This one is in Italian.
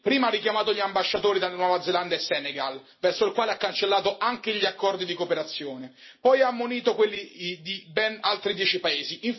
Prima ha richiamato gli ambasciatori dalla Nuova Zelanda e dal Senegal, verso il quale ha cancellato anche gli accordi di cooperazione. Poi ha ammonito quelli di ben altri dieci paesi.